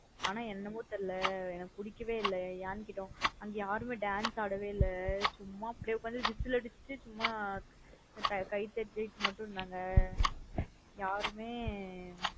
அனா என்னமோ தெரியல எனக்கு பிடிக்க வே இல்ல. ஏன்னு கேட்ட அங்க யாருமே dance ஆட வே இல்ல. சும்மா அப்டியே உக்காந்து whistle அடுச்சிட்டு சும்மா கை தட்டிட்டு மட்டும் இருந்தாங்க. யாருமே.